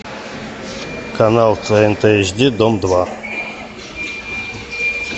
канал тнт эйч ди дом два